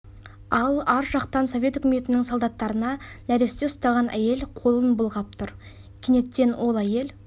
ал ар жақтан совет үкіметінің солдаттарына нәресте ұстаған әйел қолын былғап тұр кенеттен ол әйел